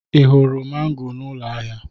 Ị hụrụ mango n'ụlọ ahịa?